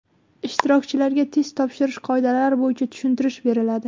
Ishtirokchilarga test topshirish qoidalari bo‘yicha tushuntirish beriladi.